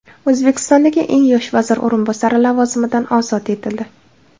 O‘zbekistondagi eng yosh vazir o‘rinbosari lavozimidan ozod etildi.